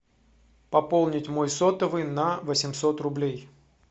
пополнить мой сотовый на восемьсот рублей